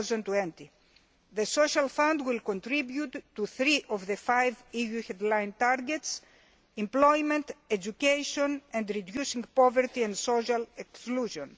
to 2020. The Social Fund will contribute to three of the five EU headline targets employment, education and reducing poverty and social exclusion.